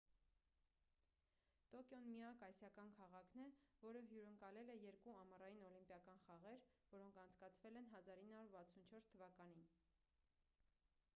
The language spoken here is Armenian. տոկիոն միակ ասիական քաղաքն է որը հյուրընկալել է երկու ամառային օլիմպիական խաղեր որոնք անցկացվել են 1964 թվականին